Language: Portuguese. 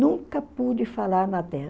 Nunca pude falar na